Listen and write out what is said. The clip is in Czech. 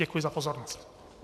Děkuji za pozornost.